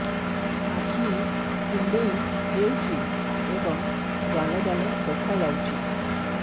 ଆଖି କୁଣ୍ଡେଇ ହେଉଛି ଏବଂ ଜାଲ ଜାଲ ଦେଖାଯାଉଛି